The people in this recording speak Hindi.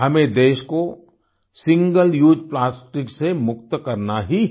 हमें देश कोsingle उसे plasticसे मुक्त करना ही है